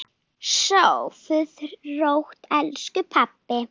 Sofðu rótt, elsku pabbi.